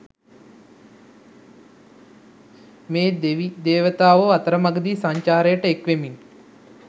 මේ දෙවිදේවතාවෝ අතරමඟදී සංචාරයට එක්වෙමින්